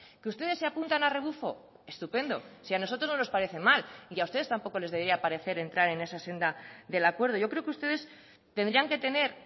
que ustedes se apuntan a rebufo estupendo si a nosotros no nos parece mal y a ustedes tampoco les debería parecer entrar en esa senda del acuerdo yo creo que ustedes tendrían que tener